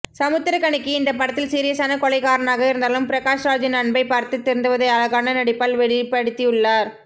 சமுத்திரக்கனிக்கு இந்த படத்தில் சீரியஸான கொலைகாரனாக இருந்தாலும் பிரகாஷ்ராஜின் அன்பை பார்த்து திருந்துவதை அழகான நடிப்பால் வெளிப்படுத்தியுள்ளார்